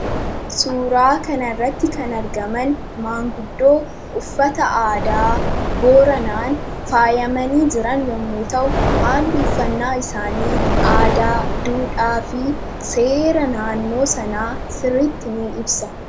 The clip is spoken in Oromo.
Suuraa kanarratti kan argaman manguddoo uffata aadaa booranaan faayamanii jiran yommuu ta'u, haalli uffannaa isaanii aadaa, duudhaa fi seera naannoo sanaa sirriitti ni ibsa.